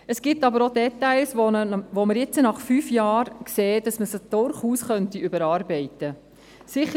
Es gibt aber auch Details, bei denen wir jetzt, nach fünf Jahren, sehen, dass man sie durchaus überarbeiten könnte.